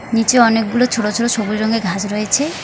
নিচে অনেকগুলো ছোট ছোট সবুজ রঙের ঘাস রয়েছে।